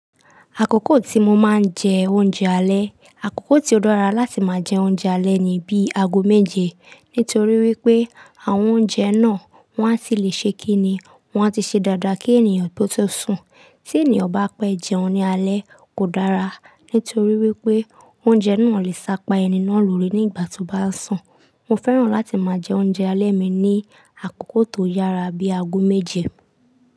Àkókò tí mo máa ń jẹ oúnjẹ alẹ́, àkókò tí ó dára láti máa jẹ oúnjẹ alẹ́ ni bíi ago méje. Nítorí wípé àwọn oúnjẹ náà wọn a tì lè ṣe kí ni, wọn a tì ṣe dáadáa kí ènìyàn tó tó sun. Tí ènìyàn bá pẹ́ jẹun ní alẹ́ kò dára, nítorí wípé oúnjẹ náà lè sápa ẹni náà lórí nígbà tó bá ń sùn. Mo fẹ́ràn láti máa jẹ oúnjẹ alẹ́ mi ní àkókò tó yára bíi ago méje.